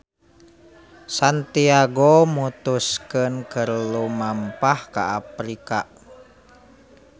Santiago mutuskeun keur lumampah ka Afrika.